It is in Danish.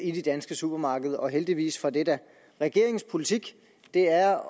i de danske supermarkeder og heldigvis for det da regeringens politik er